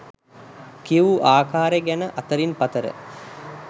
කියවූ ආකාරය ගැන අතරින් පතර